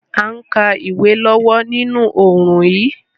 A n ka ìwé lọ́wọ́ ninú oorùn yi